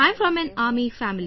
I'm from an Army family